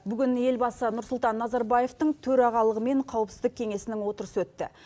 бүгін елбасы нұрсұлтан назарбаевтің төрағалығымен қауіпсіздік кеңесінің отырысы өтті